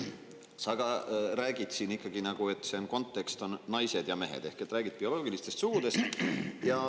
Sa ka ikkagi räägid siin, et kontekst on naised ja mehed, ehk räägid bioloogilistest sugudest.